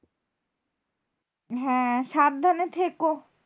হ্যাঁ সাবধানে থেকো।